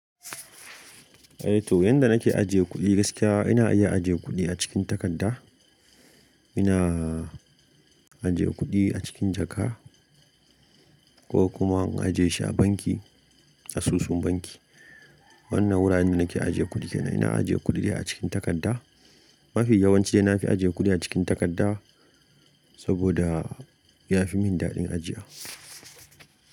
Eh to, yanda nake ajiye kuɗi gaskiya ina iya ajiye kuɗi a cikin takadda, ina ajiye kuɗi a cikin jaka ko kuma in ajiye shi a banki, asusun banki. Wannan wuraren nake ajiye kuɗi kenan. Ina ajiye kuɗi ne a cikin takadda. Mafi yawanci dai na fi ajiye kuɗi a cikin takadda saboda ya fi min daɗin ajiya.